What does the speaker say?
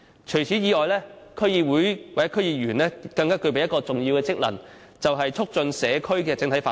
此外，區議會或區議員更具備一項重要職能，就是促進社區的整體發展。